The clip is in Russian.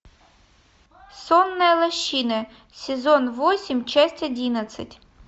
сонная лощина сезон восемь часть одиннадцать